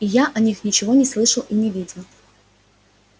я о них ничего не слышал и не видел